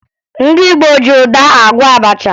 Ndị Igbo ji ụda agwọ abacha